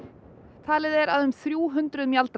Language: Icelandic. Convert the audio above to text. talið er að um þrjú hundruð